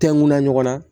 Tɛŋuna ɲɔgɔn na